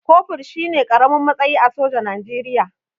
Kofur shine ƙaramin matsayi a soja Najeriya